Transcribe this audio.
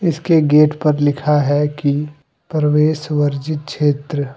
इसके गेट पर लिखा है कि प्रवेश वर्जित क्षेत्र--